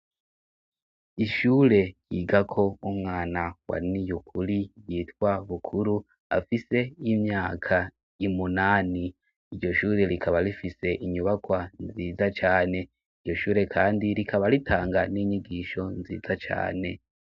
ishure yigako umwana wa niyukuri yitwa bukuru afise imyaka y'umunani iryoshure rikaba rifise inyubakwa nziza cane iryoshure kandi rikaba ritanga n'inyigisho nziza cane